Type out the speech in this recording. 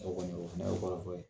O kɔni , o fɛnɛ y'o kɔrɔfɔ ye.